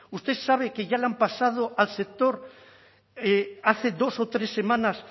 usted sabe que ya le han pasado al sector hace dos o tres semanas